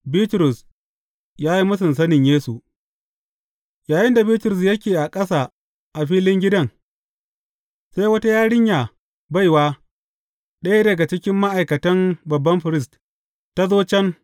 Bitrus ya yi mūsun sanin Yesu Yayinda Bitrus yake ƙasa a filin gidan, sai wata yarinya, baiwa, ɗaya daga cikin ma’aikatan babban firist, ta zo can.